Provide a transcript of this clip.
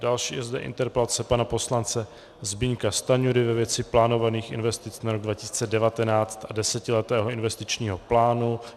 Další je zde interpelace pana poslance Zbyňka Stanjury ve věci plánovaných investic na rok 2019 a desetiletého investičního plánu.